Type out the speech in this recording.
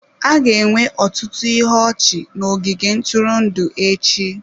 A ga-enwe ọtụtụ ihe ọchị n'ogige ntụrụndụ echi.